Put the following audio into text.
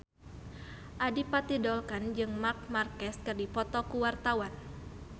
Adipati Dolken jeung Marc Marquez keur dipoto ku wartawan